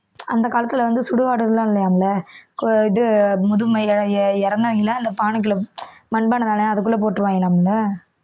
அந்த காலத்தில வந்து சுடுகாடு எல்லாம் இல்லையாம்ல இது முதுமையில இ~ இறந்தாங்கன்னா அந்த பானைக்குள்ள மண்பானைதானே அதுக்குள்ள போட்டுருவாங்களாம் இல்ல